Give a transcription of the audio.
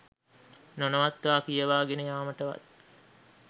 නොනවත්වා කියවා ගෙන යාමටවත්